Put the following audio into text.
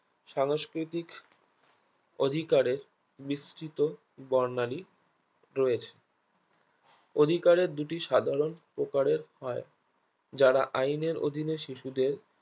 সাংস্কৃতিক অধিকারের বৃস্তিত বর্ণালী রয়েছে অধিকারের দুটি সাধারণ প্রকারের হয় যারা আইনের অধীনে শিশুদের